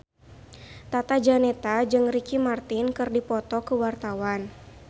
Tata Janeta jeung Ricky Martin keur dipoto ku wartawan